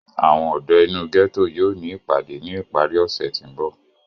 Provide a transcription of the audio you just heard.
àwọn ọdọ inu gẹto yóò ni ipade ni ipari ose ti nbọ.